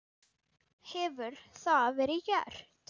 Hefur það verið gert?